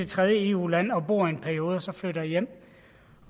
tredje eu land og bor dér i en periode og så flytter hjem